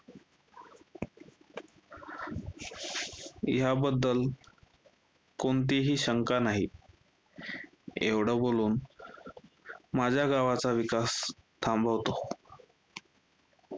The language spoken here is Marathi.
ह्याबद्दल कोणतीही शंका नाही, एवढं बोलून माझ्या गावचा विकास थांबवतो.